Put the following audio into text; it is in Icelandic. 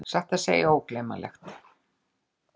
Satt að segja ógleymanlegt!